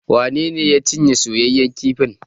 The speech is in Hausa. Wane ne ya cinye soyaƴan kifin?